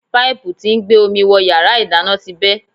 Páìpù tí ń gbé omi wọ yàrá ìdáná ti bẹ́.